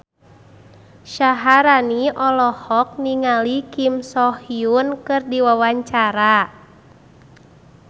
Syaharani olohok ningali Kim So Hyun keur diwawancara